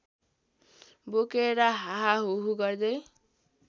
बोकेर हाहाहुहु गर्दै